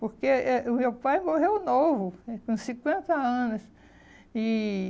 Porque eh o meu pai morreu novo, com com cinquenta anos e